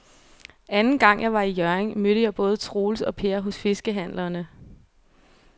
Anden gang jeg var i Hjørring, mødte jeg både Troels og Per hos fiskehandlerne.